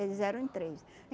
Eles eram em três.